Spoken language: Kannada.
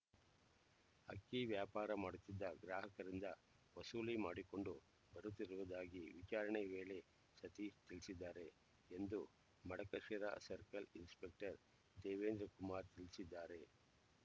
ಅಕ್ಕಿ ವ್ಯಾಪಾರ ಮಾಡುತ್ತಿದ್ದ ಗ್ರಾಹಕರಿಂದ ವಸೂಲಿ ಮಾಡಿಕೊಂಡು ಬರುತ್ತಿರುವುದಾಗಿ ವಿಚಾರಣೆ ವೇಳೆ ಸತೀಶ್ ತಿಳಿಸಿದ್ದಾರೆ ಎಂದು ಮಡಕಶಿರಾ ಸರ್ಕಲ್ ಇನ್ಸ್‌ಪೆಕ್ಟರ್ ದೇವೇಂದ್ರಕುಮಾರ್ ತಿಳಿಸಿದ್ದಾರೆ